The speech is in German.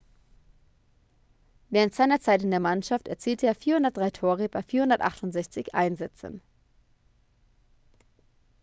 während seiner zeit in der mannschaft erzielte er 403 tore bei 468 einsätzen